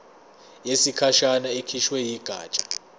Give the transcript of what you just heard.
yesikhashana ekhishwe yigatsha